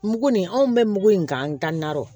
Mugu nin anw bɛ mugu in k'an dan na